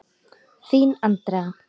Þín, Andrea.